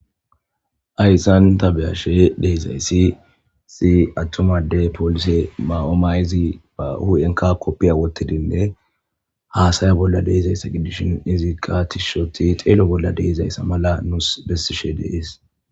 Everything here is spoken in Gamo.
Hayssan tabeyashe deezayssi si attomade polise ma'oomayzi ba hu'enka koppiya wottidinne haasaya bolla deezayssa gidishin izikka tishshoti xeelo bolla deezayssa mala nuus bessishe dees